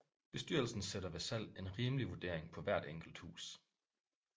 Bestyrelsen sætter ved salg en rimelig vurdering på hvert enkelt hus